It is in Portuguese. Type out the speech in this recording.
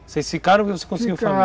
Vocês ficaram conseguiu família?